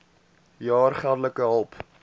jaar geldelike hulp